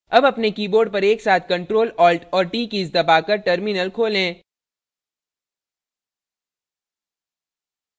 अब अपने keyboard पर एकसाथ ctrl alt और t कीज़ दबाकर terminal खोलें